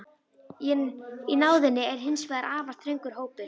Í náðinni er hins vegar afar þröngur hópur.